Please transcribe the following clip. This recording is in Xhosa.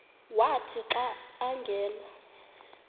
wathi xa angena